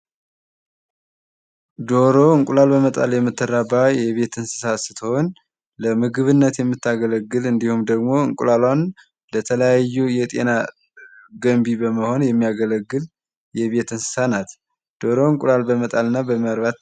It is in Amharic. ዶሮው እንቁላል በመጣል የምትራባ የቤት እንስሳ ስትሆን ለምግብነት የምታገለግል እንዲሁም ደግሞ እንቁላል ለተለያዩ የጤና ገንቢ በመሆን የሚያገለግል የቤት እንስሳ ናት። ዶሮ እንቁላል በመጣል እና በማርባት